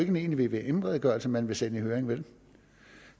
en egentlig vvm redegørelse man vil sende i høring vel